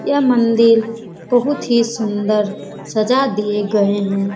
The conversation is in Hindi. यह मंदिर बहुत ही सुंदर सजा दिए गए हैं।